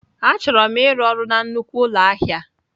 Achọrọ m ịrụ ọrụ na nnukwu ụlọ ahịa.